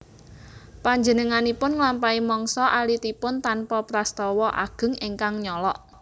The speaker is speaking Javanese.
Panjenenganipun nglampahi mangsa alitipun tanpa prastawa ageng ingkang nyolok